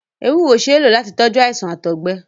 Ewúro ṣee ló láti tọjú àìsàn ti Àtọgbẹ